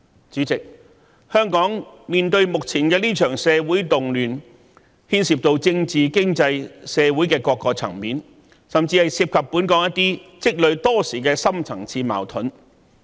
主席，香港目前面對的這場社會動亂，牽涉到政治、經濟、社會等各個層面，甚至涉及本港一些積累多時的深層次矛盾。